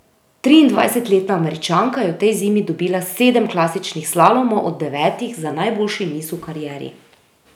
Triindvajsetletna Američanka je v tej zimi dobila sedem klasičnih slalomov od devetih za najboljši niz v karieri.